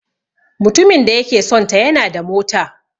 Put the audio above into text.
Mutumin da yake sonta yana da mota.